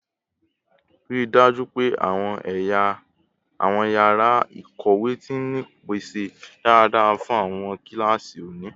Rii daju pe awọn yara ikowe ti ni ipese daradara fun awọn kilasi oni